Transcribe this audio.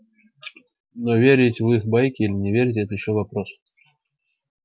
но верить в их байки или не верить это ещё вопрос